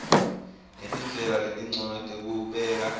netindlela letincono tekubeka